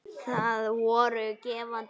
Það voru gefandi tengsl.